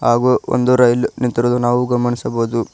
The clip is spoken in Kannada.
ಹಾಗೂ ಒಂದು ರೈಲು ನಿಂತಿರೋದು ನಾವು ಗಮನಿಸಬಹುದು.